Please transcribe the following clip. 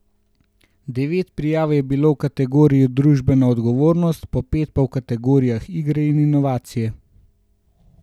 Devet prijav je bilo v kategoriji Družbena odgovornost, po pet pa v kategorijah Igre in Inovacije.